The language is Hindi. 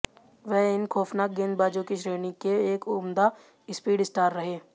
वह इन खौफनाक गेंदबाजों की श्रेणी के एक उम्दा स्पीड स्टार रहे